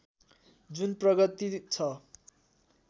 जुन प्रगति छ